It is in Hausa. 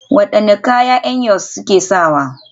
Wadanne kaya ne Eyos suke sawa?